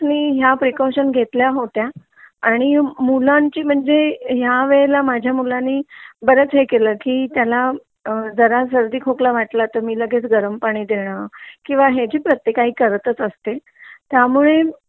precaution घेतल्या होत्या मुलांची म्हणजे ह्या वेळेला माझ्या मुलांनी बऱ्याच हे केला की त्याला अ जरा सर्दी खोकला वाटला तर मी लगेच गरम पाणी देण किंवा हे जे प्रत्येक आई करत असते त्यामुळे ना